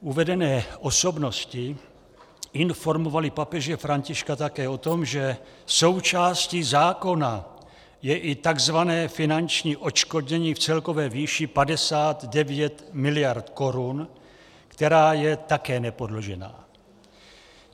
Uvedené osobnosti informovaly papeže Františka také o tom, že součástí zákona je i tzv. finanční odškodnění v celkové výši 59 miliard korun, která je také nepodložená.